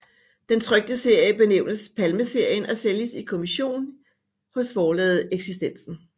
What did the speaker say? Den trykte serie benævnes Palmeserien og sælges i kommision hos forlaget Eksistensen